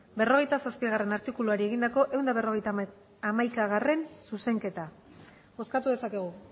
berrogeita zazpigarrena artikuluari egindako ehun eta berrogeita hamaikagarrena zuzenketa bozkatu dezakegu